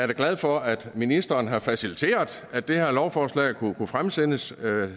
da glad for at ministeren har faciliteret at det her lovforslag kunne fremsættes